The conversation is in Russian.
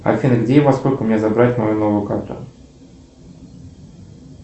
афина где и во сколько мне забрать мою новую карту